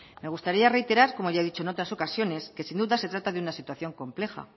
me gustaría reiterar como he dicho en otras ocasiones que sin duda se trata de una situación compleja